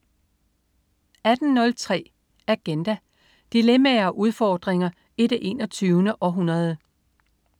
18.03 Agenda. Dilemmaer og udfordringer i det 21. århundrede